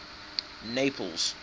naples